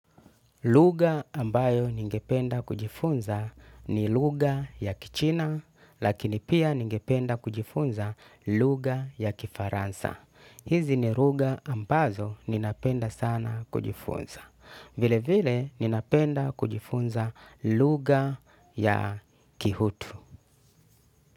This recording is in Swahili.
Luga ambayo ningependa kujifunza ni luga ya kichina, lakini pia ningependa kujifunza luga ya kifaransa. Hizi ni luga ambazo ninapenda sana kujifunza. Vile vile ninapenda kujifunza luga ya kihutu.